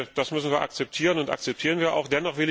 Das müssen wir akzeptieren und das akzeptieren wir auch.